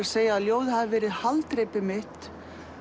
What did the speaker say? segja að ljóðið hafi verið haldreipið mitt